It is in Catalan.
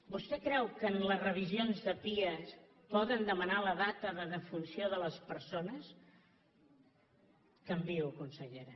vostè creu que en les revisions de pia poden demanar la data de defunció de les persones canviïho consellera